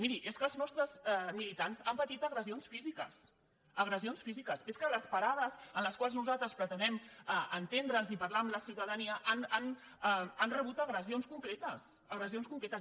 miri és que els nostres militants han patit agressions físiques agressions físiques és que les parades en les quals nosaltres pretenem entendre’ns i parlar amb la ciutadania han rebut agressions concretes agressions concretes